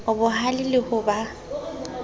o bohale le ho ba